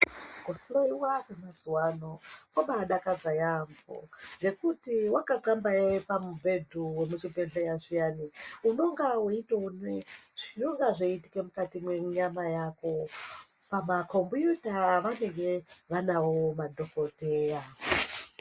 Kuhloyiwa kwemazuwaano ,kobaadakadza yambo ,nokuti wakanxambayaya pamubhedhu wemuchibhedhleya zviyani, unonga weyitoone zvinonga zveyiitike mukati menyama yako, pamakombiyuta avanenge vanawo madhokodheya.